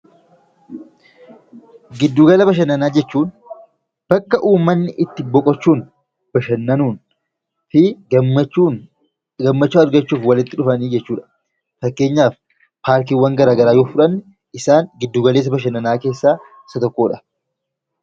Giddugala Bashannanaa jechuun bakka uummanni itti boqochuun, bashannanuun f gammachuu argachuuf walitti dhufanii jechuu dha. Fakkeenyaaf Paarkiiwwan gara garaa yoo fudhanne isaan Giddugala Bashannanaa keessaa isa tokko dha.